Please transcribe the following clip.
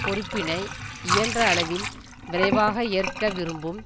பொறுப்பினை இயன்ற அளவில் விரைவாக ஏற்க விரும்பும்